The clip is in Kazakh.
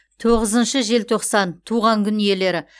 тоғызыншы желтоқсан туған күн иелері